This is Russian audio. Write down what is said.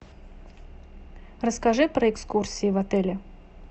расскажи про экскурсии в отеле